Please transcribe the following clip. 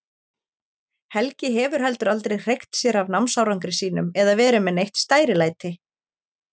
Helgi hefur heldur aldrei hreykt sér af námsárangri sínum eða verið með neitt stærilæti.